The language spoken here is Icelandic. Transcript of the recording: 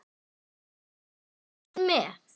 Fólkið hreifst með.